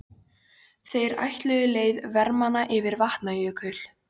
Þeir ætluðu leið vermanna yfir Vatnajökul.